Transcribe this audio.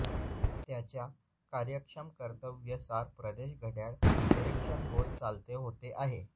त्याच्या कार्यक्षम कर्तव्ये सार प्रदेश घड्याळ निरीक्षण गोल चालते होते आहे